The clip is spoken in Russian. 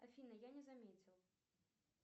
афина я не заметил